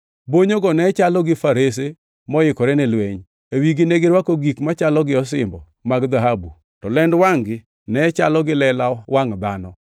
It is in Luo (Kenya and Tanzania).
Bonyogo ne chalo gi farese moikore ni lweny. E wigi negirwako gik machalo gi osimbo mag dhahabu, to lend wangʼ-gi ne chalo gi lela wangʼ dhano.